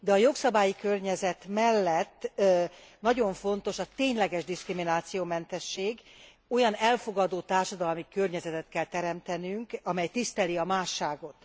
De a jogszabályi környezet mellett nagyon fontos a tényleges diszkriminációmentesség, olyan elfogadó társadalmi környezetet kell teremtenünk, amely tiszteli a másságot.